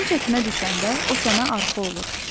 Sən çətinə düşəndə, o sənə arxa olur.